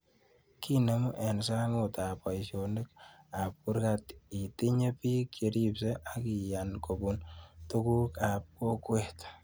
Kenemun eng' sangut ab poishonik ab kurgat itinye pik che ripsei ak iyan kopun tuguk ab kokwet